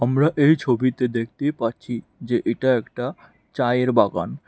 আমরা এই ছবিতে দেখতে পাচ্ছি যে এটা একটা চায়ের বাগান।